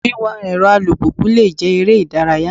Wíwà èrọ alùpùpù le jẹ́ eré ìdárayá.